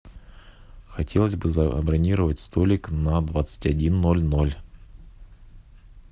хотелось бы забронировать столик на двадцать один ноль ноль